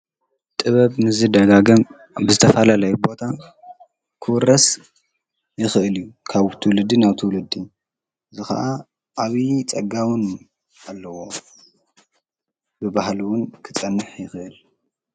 ጥበብ ምስዝደጋገም ብዝተፋላለየ ቦታ ክውረስ ይኽእል እዩ፡፡ ካብ ትውልዲ ናብ ትውልዲ እዚ ኸዓ ዓብዪ ፀጋ ዉን ኣለዎ፡፡ ብባህሊ ዉን ክጸንሕ ይኽእል፡፡